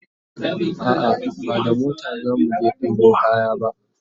a'a ba da mota zamu je ɗebo kaya ba